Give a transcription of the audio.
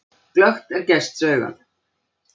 Glöggt er gests augað.